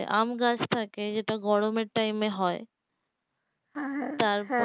তারপরে আম গাছ থাকে যেটা গরমের time হয় তারপরে